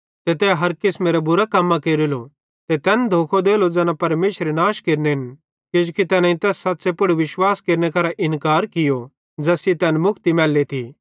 ते तै हर किसमेरां बुरां कम्मां केरेलो ते तैन धोखो देलो ज़ैना परमेशरे नाश केरनेन किजोकि तैनेईं तैस सच़्च़े पुड़ विश्वास केरने करां इन्कार कियो ज़ैस सेइं तैन मुक्ति मैल्लेथी